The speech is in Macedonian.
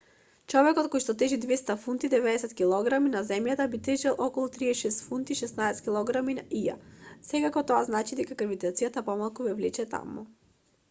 човек којшто тежи 200 фунти 90 килограми на земјата би тежел околу 36 фунти 16 килограми на ија. секако тоа значи дека гравитацијата помалку ве влече таму